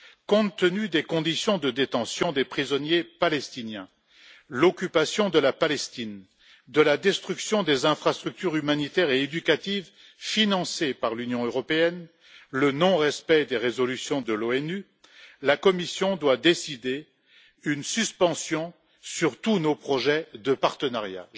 Compte tenu des conditions de détention des prisonniers palestiniens, de l'occupation de la Palestine, de la destruction des infrastructures humanitaires et éducatives financées par l'Union européenne, du non respect des résolutions de l'ONU, la Commission doit décider une suspension de tous nos projets de partenariat.